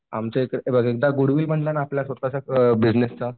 आमच्या इकडे हे बघ एकदा गुडविल बनला ना आपल्या स्वतःच्या बिजनेसचा